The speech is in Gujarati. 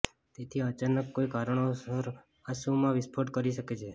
તેથી અચાનક કોઈ કારણોસર આંસુ માં વિસ્ફોટ કરી શકે છે